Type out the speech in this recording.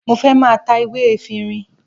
Mo fẹ́ máa ta ewé efinrin